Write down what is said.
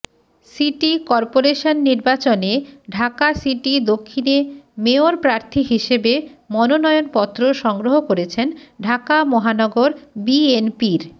city corporation নির্বাচনে Dhaka city দক্ষিণে mayor প্রার্থী হিসেবে মনোনয়নপত্র সংগ্রহ করেছেন ঢাকা মহানগর বিএনপির